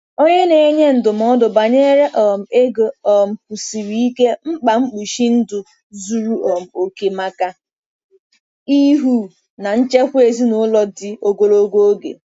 Onye na-enye ndụmọdụ banyere um ego um kwusiri ike mkpa mkpuchi ndụ zuru um oke maka ịhụ na nchekwa ezinụlọ dị ogologo oge.